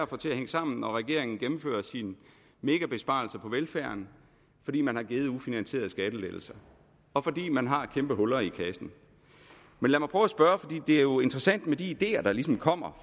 få til at hænge sammen når regeringen gennemfører sine megabesparelser på velfærden fordi man har givet ufinansierede skattelettelser og fordi man har kæmpe huller i kassen det er jo interessant med de ideer der ligesom kommer